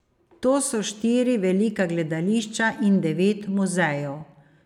To so štiri velika gledališča in devet muzejev.